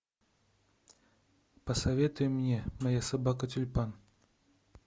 посоветуй мне моя собака тюльпан